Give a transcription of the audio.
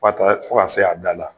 fo ka se a da la .